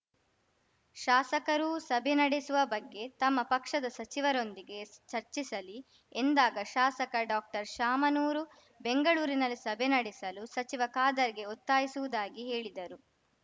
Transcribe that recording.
ಶಾಸಕರೂ ಸಭೆ ನಡೆಸುವ ಬಗ್ಗೆ ತಮ್ಮ ಪಕ್ಷದ ಸಚಿವರೊಂದಿಗೆ ಚರ್ಚಿಸಲಿ ಎಂದಾಗ ಶಾಸಕ ಡಾಕ್ಟರ್ಶಾಮನೂರು ಬೆಂಗಳೂರಿನಲ್ಲಿ ಸಭೆ ನಡೆಸಲು ಸಚಿವ ಖಾದರ್‌ಗೆ ಒತ್ತಾಯಿಸುವುದಾಗಿ ಹೇಳಿದರು